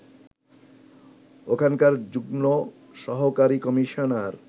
ওখানকার যুগ্ম সহকারী কমিশনার